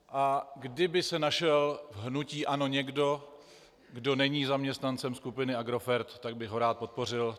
A kdyby se našel v hnutí ANO někdo, kdo není zaměstnancem skupiny Agrofert, tak bych ho rád podpořil.